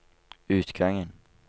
utgangen